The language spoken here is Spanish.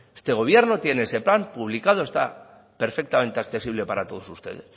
este gobierno tiene ese plan publicado está perfectamente accesible para todos ustedes